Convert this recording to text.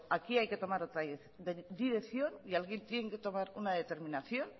aquí hay que tomar otra dirección y alguien tiene que tomar una determinación